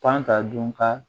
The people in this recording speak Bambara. Pan ka dun ka